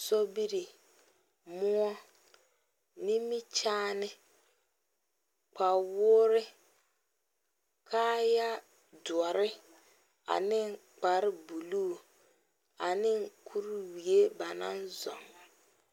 sobiri, moɔ, nimikyaane, kpawɔɔre kaayaa doɔre ane kpare buluu ane kurwie ba naŋ zoŋ.